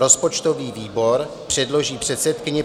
Rozpočtový výbor předloží předsedkyni